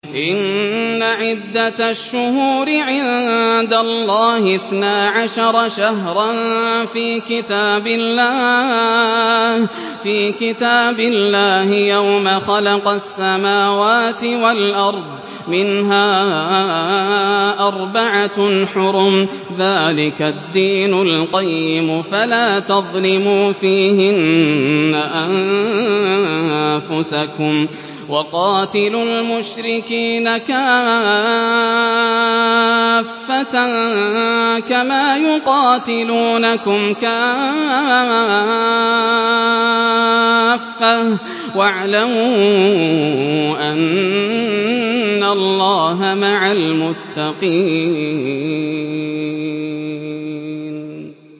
إِنَّ عِدَّةَ الشُّهُورِ عِندَ اللَّهِ اثْنَا عَشَرَ شَهْرًا فِي كِتَابِ اللَّهِ يَوْمَ خَلَقَ السَّمَاوَاتِ وَالْأَرْضَ مِنْهَا أَرْبَعَةٌ حُرُمٌ ۚ ذَٰلِكَ الدِّينُ الْقَيِّمُ ۚ فَلَا تَظْلِمُوا فِيهِنَّ أَنفُسَكُمْ ۚ وَقَاتِلُوا الْمُشْرِكِينَ كَافَّةً كَمَا يُقَاتِلُونَكُمْ كَافَّةً ۚ وَاعْلَمُوا أَنَّ اللَّهَ مَعَ الْمُتَّقِينَ